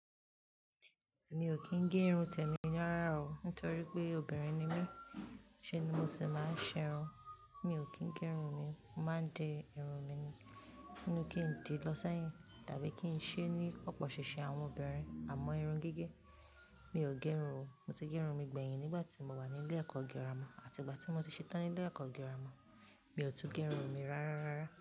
Mi ò kí n gé irun te mi rárá o, nítorí pé obìnrin ni mí, ṣe ni mo sì máa ń ṣerun. Mi ò kí n gé irun mi, mo máa di irun mi ni, ní nú kin di lọ sẹ́yìn tàbí kí n ṣe ní popo sisi àwọn obìnrin, àmọ́ irun gẹ́gẹ́. Mi ò gé irun o, mo ti gé irun mi gbẹ̀yìn nígbàtí mo wà ní ilé ẹ̀kọ́ gírámà àti ìgbàtí mo ti ṣe tán ní ilé ẹ̀kọ́ gírámà, mi ò tún gé irun mi rárá rárá.